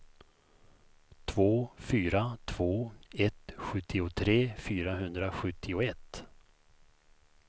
två fyra två ett sjuttiotre fyrahundrasjuttioett